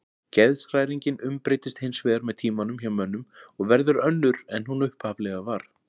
Geðshræringin umbreytist hins vegar með tímanum hjá mönnum og verður önnur en hún upphaflega var.